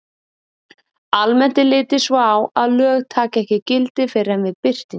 Almennt er litið svo á að lög taki ekki gildi fyrr en við birtingu.